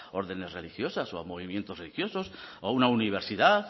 órdenes religiosas o a movimientos religiosos o a una universidad